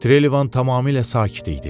Trelivan tamamilə sakit idi.